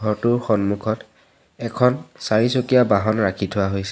ঘৰটোৰ সন্মুখত এখন চাৰিচকীয়া বাহন ৰাখি থোৱা হৈছে।